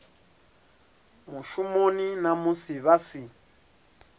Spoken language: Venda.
mushumoni na musi vha si